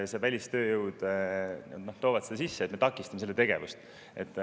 Nii et me takistame sellist tegevust.